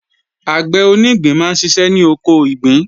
Àgbẹ̀ onígbín máa ń ṣiṣẹ́ ní oko ìgbín